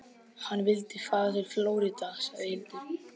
Hann vildi fara til Flórída, sagði Hildur.